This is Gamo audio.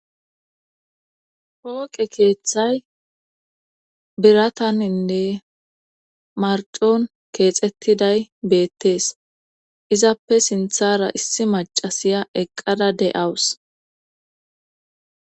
Pooqe keeththay birataninne marcon keexettiday bettees izappe sinthara issi macasiya eqqada de'awus